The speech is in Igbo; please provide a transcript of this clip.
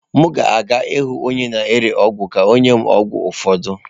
M ga-aga ịhụ onye na-ere ọgwụ ka ọ nye m ọgwụ ụfọdụ.